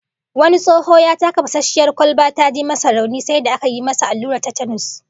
Wani tsoho ya taka fasasshiyar kwalba ta ji masa rauni, sai da aka yi masa allurar Tetanus